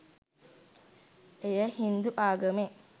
එය හින්දු ආගමේ